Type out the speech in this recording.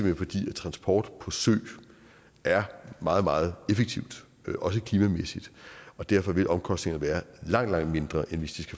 hen fordi transport på sø er meget meget effektivt også klimamæssigt og derfor vil omkostningerne være langt langt mindre end hvis